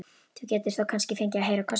Þú gætir þá kannski fengið að heyra kossana.